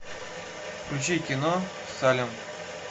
включи кино салем